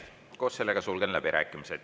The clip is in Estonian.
Koos sellega sulgen läbirääkimised.